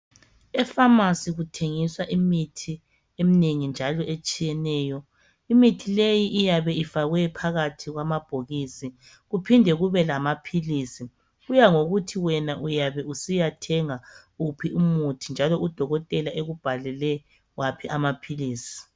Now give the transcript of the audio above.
EPharmacy kuthengiswa imithi eminengi njalo etshiyeneyo imithi leyi iyabe ifakwe phakathi kwamabhokisi kuphinde kube lamaphilisi kuyangokuthi wena uyabe usiyathenga wuphi umuthi njalo udokotela ekubhalele waphi amaphilisi.